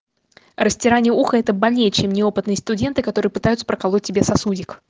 растирание уха это больнее чем неопытный студенты которые пытаются проколоть тебе сосудик